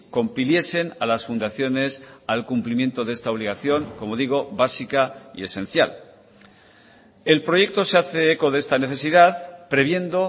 compiliesen a las fundaciones al cumplimiento de esta obligación como digo básica y esencial el proyecto se hace eco de esta necesidad previendo